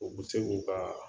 U bɛ se k'u ka